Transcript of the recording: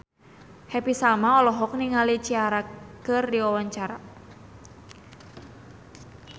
Happy Salma olohok ningali Ciara keur diwawancara